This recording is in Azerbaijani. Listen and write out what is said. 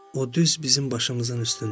o düz bizim başımızın üstündədir.